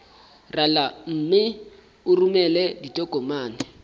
rala mme o romele ditokomene